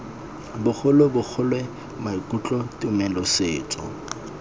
bogolo bogole maikutlo tumelo setso